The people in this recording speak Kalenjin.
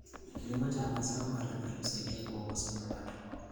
Kilimo cha mazao mbalimbali husaidia kuongeza mapato.